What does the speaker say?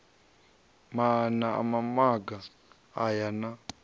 maana a mamaga aya na